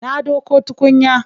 Na ɗauko tukunya.